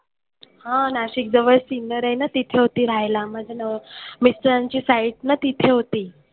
हां नाशिकजवळ सिन्नर आहे ना तिथे होती राहायला माझ्या नव मित्रांची site ना तिथे होती.